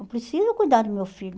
Eu preciso cuidar do meu filho.